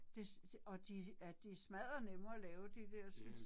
Det og de er de er smadder nemme og lave de dersens